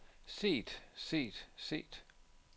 set set set